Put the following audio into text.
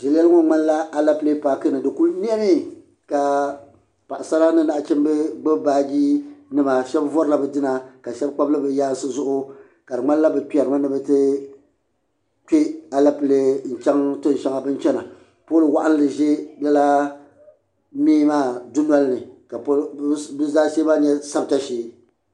Ʒileli ŋmanila Alapilee paaki ni di kuli niɛmi ka Paɣasara ni nachimba gbibi baaji nima sheba vorila bɛ dina ka sheba kpabili bɛ yaansi zuɣu ka di nyanila bɛ kperimi ni bɛ ti kpe Alapilee n chaŋ tiŋsheŋa bini chena pooli waɣinli ʒɛ lala mɛɛ maa dunolini ka bɛ zaashee maa nyɛ sabita shee.